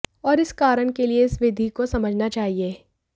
और इस कारण के लिए इस विधि को समझना चाहिए